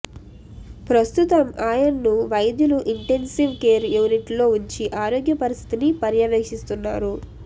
ప్రస్తుతం ఆయన్ను వైద్యులు ఇంటెన్సివ్ కేర్ యూనిట్లో ఉంచి ఆరోగ్య పరిస్థితిని పర్యవేక్షిస్తున్నారు